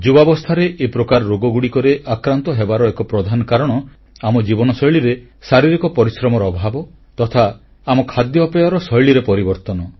ଯୁବାବସ୍ଥାରେ ଏ ପ୍ରକାର ରୋଗଗୁଡ଼ିକର ଆକ୍ରାନ୍ତ ହେବାର ଏକ ପ୍ରଧାନ କାରଣ ଆମ ଜୀବନଶୈଳୀରେ ଶାରୀରିକ ପରିଶ୍ରମର ଅଭାବ ତଥା ଆମ ଖାଦ୍ୟପେୟ ଶୈଳୀରେ ପରିବର୍ତ୍ତନ